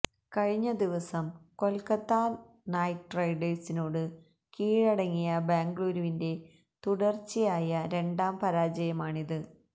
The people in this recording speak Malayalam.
കഴിഞ്ഞ ദിവസം കൊല്ക്കത്ത നൈറ്റ് റൈഡേഴ്സിനോട് കീഴടങ്ങിയ ബാംഗ്ലൂരിന്റെ തുടര്ച്ചയായ രണ്ടാം പരാജയമാണിത്